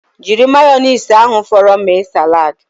Jiri mayonaisi ahụ fọrọnu mee salad